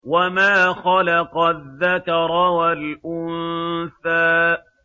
وَمَا خَلَقَ الذَّكَرَ وَالْأُنثَىٰ